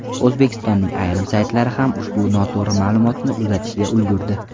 O‘zbekistonning ayrim saytlari ham ushbu noto‘g‘ri ma’lumotni uzatishga ulgurdi.